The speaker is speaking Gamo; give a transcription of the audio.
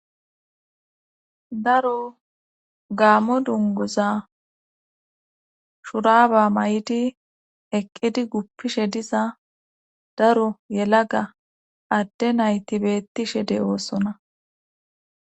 Daro gammo dunguza shuraba may7di eqqidi guppishe diza daro yelaga adde nayti beettishide oossona.